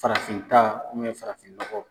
Farafin ta farafinɔgɔ.